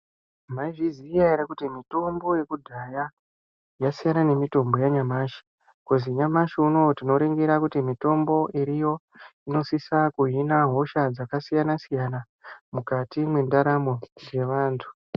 Mwaizviziva ere kuti mitombo yekudhaya yasiyana nemitombo yanyamashi, khozi nyamashi unowu tinoringira kuti mitombo iriyo inosisa kuhina hosha dzakasiyana-siyana mukati mwendaramo yevantu.